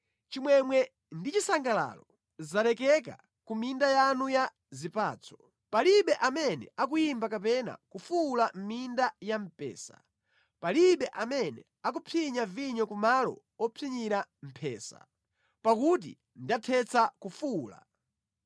Chimwemwe ndi chisangalalo zalekeka ku minda yanu ya zipatso; palibe amene akuyimba kapena kufuwula mʼminda ya mpesa; palibe amene akupsinya vinyo ku malo opsinyira mphesa, pakuti ndathetsa kufuwula.